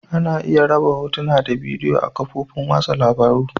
Ana iya raba Hotuna da bidiyo a'kafofin wasan labaru.